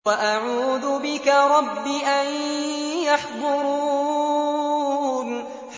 وَأَعُوذُ بِكَ رَبِّ أَن يَحْضُرُونِ